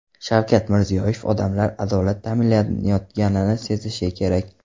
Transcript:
Shavkat Mirziyoyev: Odamlar adolat ta’minlanayotganini sezishi kerak.